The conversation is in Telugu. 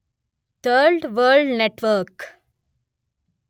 third world network